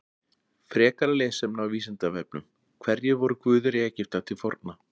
Frekara lesefni á Vísindavefnum: Hverjir voru guðir Egypta til forna?